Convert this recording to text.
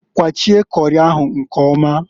Kwachie kori ahụ nkọmaǃ